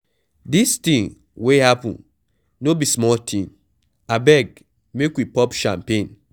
Dis thing wey happen no be small thing, abeg make we pop champagne.